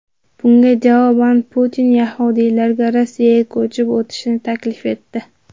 Bunga javoban Putin yahudiylarga Rossiyaga ko‘chib o‘tishni taklif etdi.